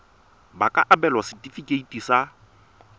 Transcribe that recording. ba ka abelwa setefikeiti sa